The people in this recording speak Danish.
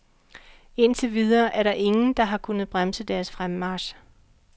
Indtil videre er der ingen, der har kunnet bremse deres fremmarch.